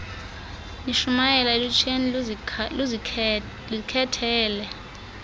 nishumayele elutsheni luzikhethele